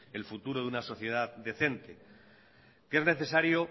el futuro de una sociedad decente que es necesario